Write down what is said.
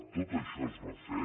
tot això es va fer